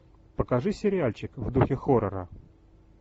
покажи сериальчик в духе хоррора